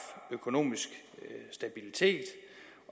økonomisk stabilitet